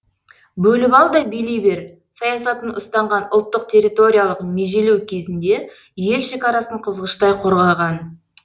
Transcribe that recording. бөліп ал да билей бер саясатын ұстанған ұлттық территориялық межелеу кезінде ел шекарасын қызғыштай қорғаған